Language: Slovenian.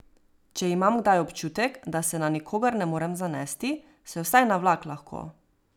Če imam kdaj občutek, da se na nikogar ne morem zanesti, se vsaj na vlak lahko.